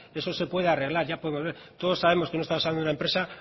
eso se puede arreglar todos sabemos que no estamos hablando de una empresa